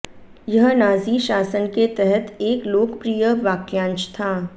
यह नाज़ी शासन के तहत एक लोकप्रिय वाक्यांश था